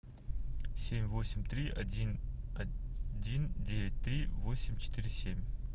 семь восемь три один один девять три восемь четыре семь